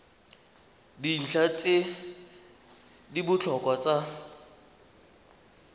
dintlha tse di botlhokwa tsa